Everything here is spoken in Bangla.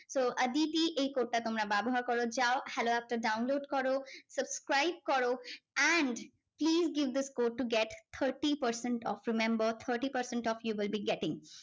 তো আদিতি এই code টা তোমরা ব্যবহার করো যাও হ্যালো app টা download করো subscribe করো and please give the code to get thirty percent off remember thirty percent off you will be getting.